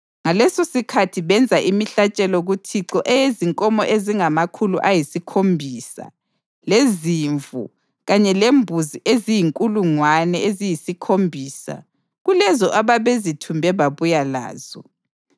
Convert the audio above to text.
Ngalesosikhathi benza imihlatshelo kuThixo eyezinkomo ezingamakhulu ayisikhombisa lezimvu kanye lembuzi eziyizinkulungwane eziyisikhombisa kulezo ababezithumbe babuya lazo.